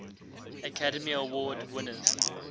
academy award winners